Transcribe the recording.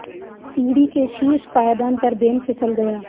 सीढ़ी के शीर्ष पायदान पर बेन फिसल गया